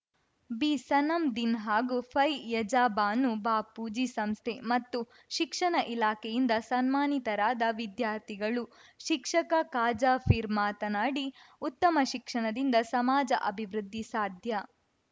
ಬಿಸನಮ್‌ ದಿನ್‌ ಹಾಗೂ ಪೈಯಜಾ ಬಾನು ಬಾಪೂಜಿ ಸಂಸ್ಥೆ ಮತ್ತು ಶಿಕ್ಷಣ ಇಲಾಖೆಯಿಂದ ಸನ್ಮಾನಿತರಾದ ವಿದ್ಯಾರ್ಥಿಗಳು ಶಿಕ್ಷಕ ಖಾಜಾ ಫೀರ್‌ ಮಾತನಾಡಿ ಉತ್ತಮ ಶಿಕ್ಷಣದಿಂದ ಸಮಾಜ ಅಭಿವೃದ್ಧಿ ಸಾಧ್ಯ